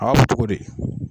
A b'a fɔ togo di